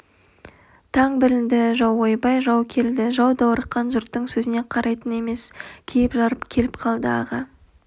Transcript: таң білінді жау ойбай жау келді жау даурыққан жұрттың сөзіне қарайтын емес киіп-жарып келіп қалды аға